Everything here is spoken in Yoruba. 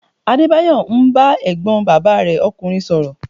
Adébáyọ̀ ń bá ẹ̀gbọ́n bàbá rẹ ọkùnrin sọ̀rọ̀